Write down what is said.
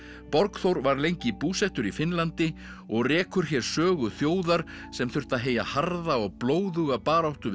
Borgþór var lengi búsettur í Finnlandi og rekur hér sögu þjóðar sem þurfti að heyja harða og blóðuga baráttu við